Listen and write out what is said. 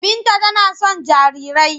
Binta tana son jarirai.